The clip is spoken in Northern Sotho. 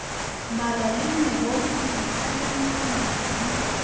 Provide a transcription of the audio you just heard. mala le megodu dikhanakhana di